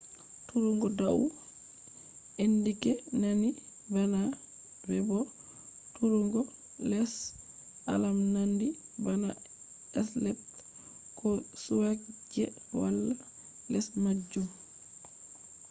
turugo dau” alama nandi bana v bo turugo les” alama nandi bana stepl ko suqwe je wala les majum